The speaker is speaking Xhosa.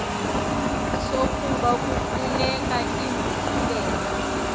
sokuba kufuneka inguqulelo